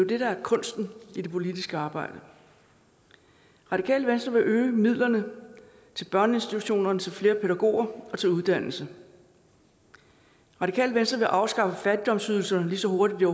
det der er kunsten i det politiske arbejde radikale venstre vil øge midlerne til børneinstitutionerne til flere pædagoger og til uddannelse radikale venstre vil afskaffe fattigdomsydelserne lige så hurtigt det